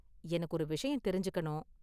எனக்கு ஒரு விஷயம் தெரிஞ்சுக்கணும்.